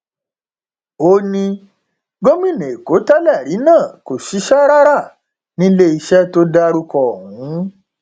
ó ní gómìnà èkó tẹlẹrí náà kò ṣiṣẹ rárá níléeṣẹ tó dárúkọ ọhún